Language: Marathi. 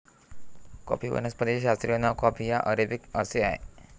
कॉफी वनस्पतीचे शास्त्रीय नाव कॉफी या अरेबिका असे आहे